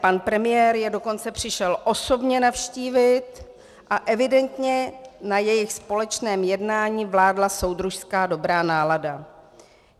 Pan premiér je dokonce přišel osobně navštívit a evidentně na jejich společném jednání vládla soudružská dobrá nálada.